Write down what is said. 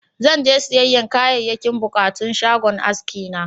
Zan je siyayyan Kayayyakin buƙatun shagon aski na.